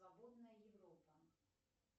свободная европа